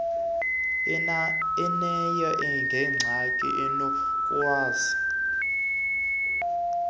unaye gelixa unokukwazi